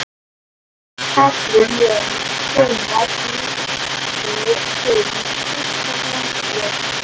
Ekki Katrín Jóns Hvenær lékstu þinn fyrsta landsleik?